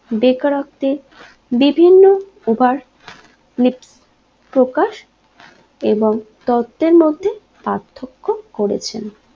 বেকারত্বে বিভিন্ন উপার লিপ প্রকাশ এবং তথ্যের মধ্যে পার্থক্য করেছেন